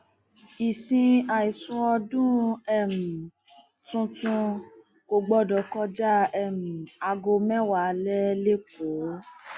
ìsìn àìsùn ọdún um tuntun kò gbọdọ kọjá um aago mẹwàá alẹ lẹkọọ